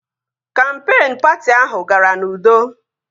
Kampeen patị ahụ gara n'udo